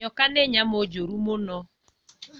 Nyoka nĩ nyamũ njũru mũno